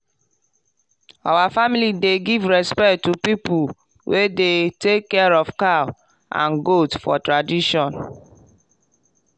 our family dey give respect to people wey dey take care of cow and goat for tradition.